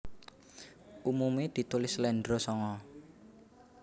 Umume ditulis sléndro sanga